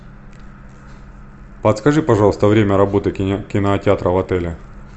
подскажи пожалуйста время работы кинотеатра в отеле